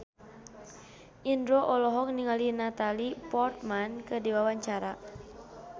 Indro olohok ningali Natalie Portman keur diwawancara